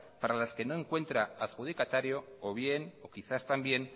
para las que no encuentra adjudicatario o bien o quizás también